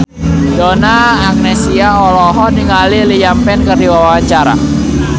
Donna Agnesia olohok ningali Liam Payne keur diwawancara